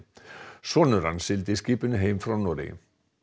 sonur hans sigldi skipinu heim frá Noregi